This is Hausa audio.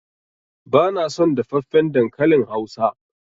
Bana son dafaffen dankalin hausa.